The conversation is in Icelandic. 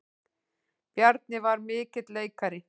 Bjarni var mikill leikari.